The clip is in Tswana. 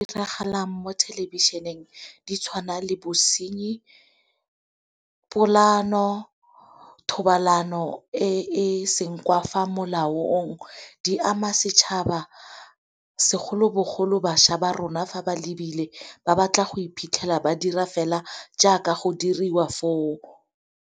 Diragalang mo thelebišeneng di tshwana le bosenyi, polaano, thobalano e senngwa fa molaong di ama setšhaba segolobogolo bašwa ba rona fa ba lebile ba batla go iphitlhela ba dira fela jaaka go diriwa fo o.